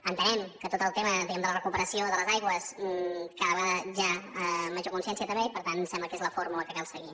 entenem que tot el tema diguem ne de la recuperació de les aigües cada vegada hi ha major consciència també i per tant sembla que és la fórmula que cal seguir